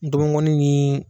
N tɔbɔkɔnin ni